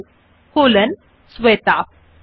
Enter key টিপুন এবং লিখুন মথার্স নামে কলন শ্বেতা